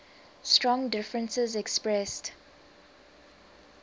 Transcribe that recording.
strong differences expressed